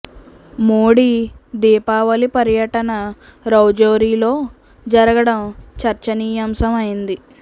మోడీ దీపావళి పర్యటన రౌజోరీ లో జరగడం చర్చనీయాంశం అయింది